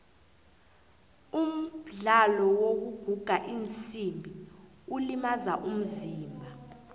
umdlalo wokuguga iinsimbi ulimaza umzimba